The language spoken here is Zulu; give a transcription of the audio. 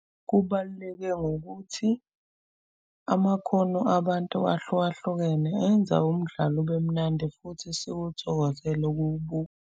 Kubaluleke ngokuthi amakhono abantu ahlukahlukene enza umdlalo ubemnandi futhi siwuthokozele ukuwubuka.